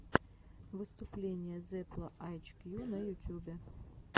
выступление зепла эйчкью на ютюбе